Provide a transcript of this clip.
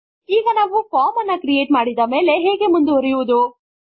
ಈಗ ನಾವು ಫಾರ್ಮ್ ಅನ್ನು ಕ್ರಿಯೇಟ್ ಮಾಡಿದ ಮೇಲೆ ಹೇಗೆ ಮುಂದುವರೆಯುವುದು